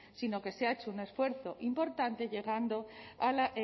sino que se ha hecho un esfuerzo importante llegando a